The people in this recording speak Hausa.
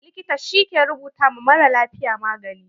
Likita shi ke rubuta ma maralafiya magani.